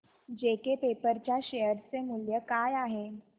JK Paper च्या शेअर चे मूल्य काय आहे